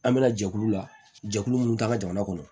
An bɛna jɛkulu la jɛkulu mun k'an ka jamana kɔnɔ